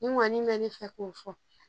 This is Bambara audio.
Min kɔni mɛ ne fɛ k'o fɔ